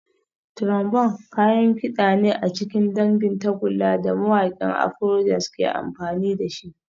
Trombone kayan kida ne a cikin dangin tagulla da mawakan Afrojazz ke amfani da shi